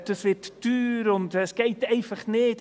«Das wird teuer und geht einfach nicht!».